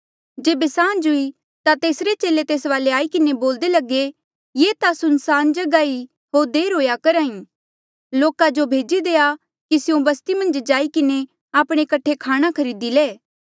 जेबे सांझ हुई ता तेसरे चेले तेस वाले आई किन्हें बोल्दे लगे ये ता सुनसान जगहा ई होर देर हुएया करहा ई लोका जो भेजी देआ कि स्यों बस्ती मन्झ जाई किन्हें आपणे कठे खाणा खरीदी ले